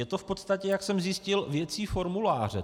Je to v podstatě, jak jsem zjistil, věcí formuláře.